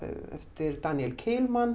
eftir Daniel